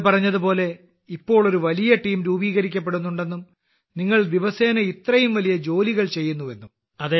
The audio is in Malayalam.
നിങ്ങൾ പറഞ്ഞതുപോലെ ഇപ്പോൾ ഒരു വലിയ ടീം രൂപീകരിക്കപ്പെടുന്നുണ്ടെന്നും നിങ്ങൾ ദിവസേന ഇത്രയും വലിയ ജോലികൾ ചെയ്യുന്നുവെന്നും